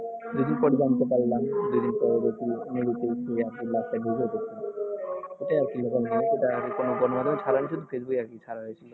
facebook এ আরকি ছাড়া হয়েছিলো